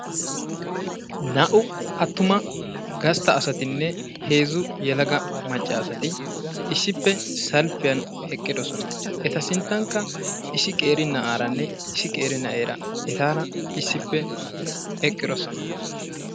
naa'u attuma gasta asatinne heezzu yelagga maaca asati issippe salppiyan eqqidosona. eta sintankka issi qeeri na'aaranne issi qeeri na'eera etaara issippe eqqidososna.